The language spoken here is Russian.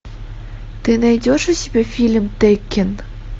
ты найдешь у себя фильм теккен